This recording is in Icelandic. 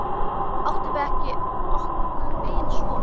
Áttum við okkur ekki son?